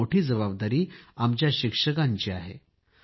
ही मोठी जबाबदारी आमच्या शिक्षकांची आहे